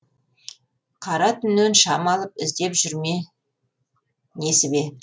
қара түннен шам алып іздеп жүр ме несібе